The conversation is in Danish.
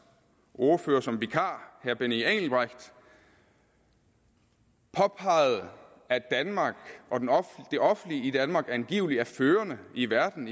ordfører som vikar herre benny engelbrecht påpegede at danmark og det offentlige i danmark angiveligt er førende i verden